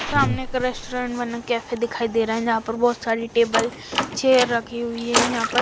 सामने का रेस्टोरेंट मने कैफे दिखाई दे रहा है जहां पर बहोत सारी टेबल चेयर रखी हुई है यहा पर--